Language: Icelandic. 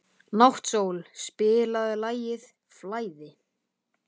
Náttsól, spilaðu lagið „Flæði“.